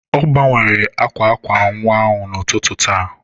Ọ gbanwere akwa akwa nwa n'ụtụtụ taa.